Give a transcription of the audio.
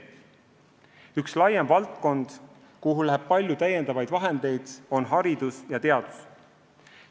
Üks laiem valdkond, kuhu läheb palju lisaraha, on haridus ja teadus.